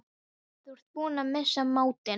Þú ert búinn að missa máttinn!